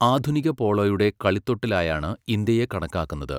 ആധുനിക പോളോയുടെ കളിത്തൊട്ടിലായാണ് ഇന്ത്യയെ കണക്കാക്കുന്നത്.